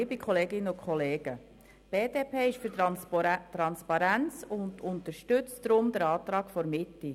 Die BDP-Fraktion ist für Transparenz und unterstützt deshalb den Antrag der Mitte.